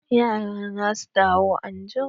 Ya'ya na za su dawo anjima.